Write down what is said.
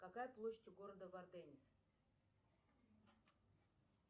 какая площадь у города варденис